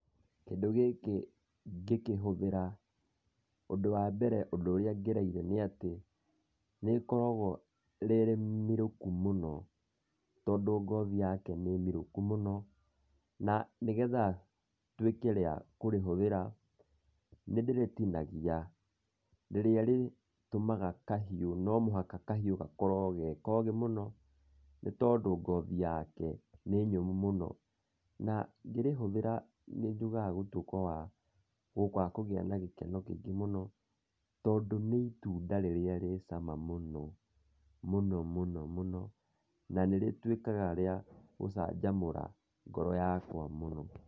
Kĩndũ gĩkĩ ngĩkĩhũthĩra, ũndũ wa mbere ũndũ ũrĩa ngereire nĩ atĩ nĩrĩkoragwo rĩrĩmirũku mũno, tondũ ngothi yake nĩ mĩrũku mũno. Na nĩgetha nduĩke wa kũrĩhũthĩra nĩ ndĩrĩtinagia, rĩrĩa rĩtũmaga kahiũ no mũhaka kahiũ gakorwo ge kogĩ mũno nĩ tondũ ngothi yake nĩ nyũmũ mũno. Na ngĩrĩhũthĩra nĩ nduĩkaga wa kũgĩa na gĩkeno kĩingĩ mũno, tondũ nĩ ĩtunda rĩrĩa rĩ cama mũno mũno. Na nĩ rĩtuĩkaga rĩa gũcanjamũra ngoro yakwa mũno.